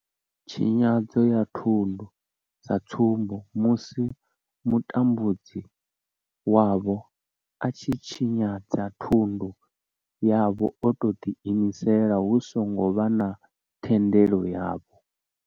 Tshinyadzo ya thundu sa tsumbo, musi mutambudzi wavho a tshi tshinyadza thundu yavho o tou ḓiimisela hu songo vha na thendelo yavho.